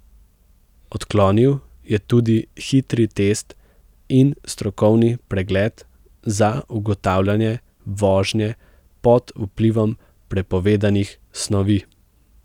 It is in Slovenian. Odklonil je tudi hitri test in strokovni pregled za ugotavljanje vožnje pod vplivom prepovedanih snovi.